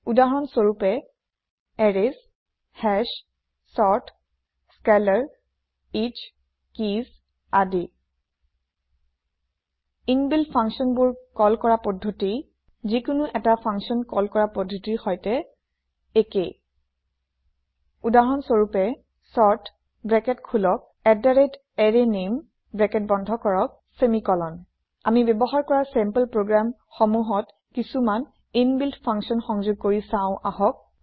উদাহৰণ স্ৱৰূপে arrays hash sort scalar each keys আদি ইনবিল্ট functionবোৰ কল কৰা পদ্ধতি যিকোনো এটা ফংছন কল কৰা পদ্ধতিৰে সৈতে একেই উদাহৰণ স্ৱৰূপে sort open bracket arrayName close bracket semicolon আমি ব্যৱহাৰ কৰা চেম্পল প্ৰগ্ৰেম সমূহত কিছুমান ইনবিল্ট ফাংচাঞ্চ সংযোগ কৰি চাওঁ আহক